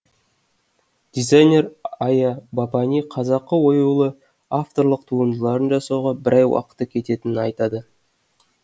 дизайнер ая бапани қазақы оюлы авторлық туындыларын жасауға бір ай уақыты кететінін айтады